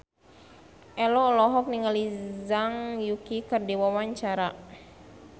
Ello olohok ningali Zhang Yuqi keur diwawancara